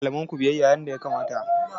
Ku yi wa malamanku biyayya yadda ya kamata!